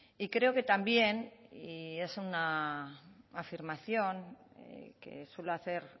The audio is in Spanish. y creo que también y es una afirmación que suelo hacer